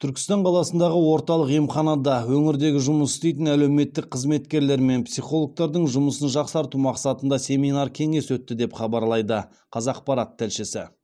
түркістан қаласындағы орталық емханада өңірдегі жұмыс істейтін әлеуметтік қызметкерлер мен психологтардың жұмысын жақсарту мақсатында семинар кеңес өтті деп хабарлайды қазақпарат тілшісі